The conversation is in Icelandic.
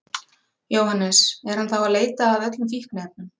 Jóhannes: Er hann þá að leita að öllum fíkniefnum?